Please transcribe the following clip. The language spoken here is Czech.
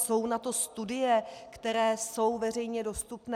Jsou na to studie, které jsou veřejně dostupné.